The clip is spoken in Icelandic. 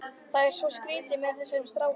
Það er svo skrýtið með þessa stráka.